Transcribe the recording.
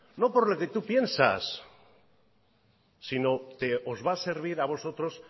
no por lo que tú piensas sino que os va a servir a vosotros